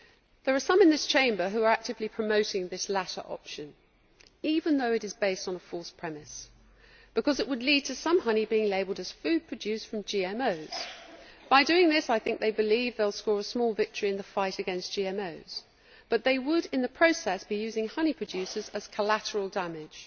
There are some in this Chamber who are actively promoting this latter option even though it is based on a false premise, because it would lead to some honey being labelled as food produced from GMOs. By doing this, I think they believe they will score a small victory in the fight against GMOs, but they would in the process be using honey producers as collateral damage.